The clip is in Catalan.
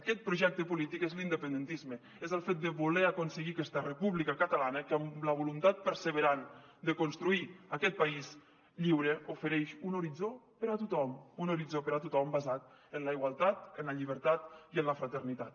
aquest projecte polític és l’independentisme és el fet de voler aconseguir aquesta república catalana que amb la voluntat perseverant de construir aquest país lliure ofereix un horitzó per a tothom un horitzó per a tothom basat en la igualtat en la llibertat i en la fraternitat